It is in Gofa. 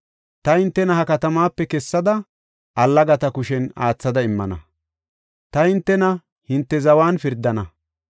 Ta hintena ha katamaape kessada, allagatas aathada immana; ta hintena hinte zawan pirdana.